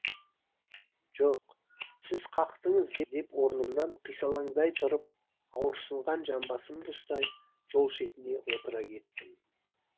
жоқ сіз қақтыңыз деп орнымнан қисалаңдай тұрып ауырсынған жамбасымды ұстай жол шетіне отыра кеттім